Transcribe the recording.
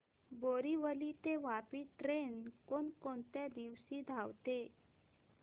बोरिवली ते वापी ट्रेन कोण कोणत्या दिवशी धावते